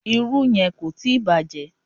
Irú yẹn kò tíì bàjẹ́.